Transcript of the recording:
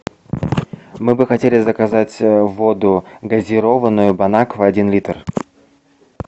мы бы хотели заказать воду газированную бонаква один литр